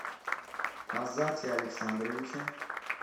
азате александровиче